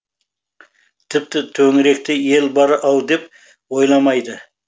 тіпті төңіректе ел бар ау деп ойламайды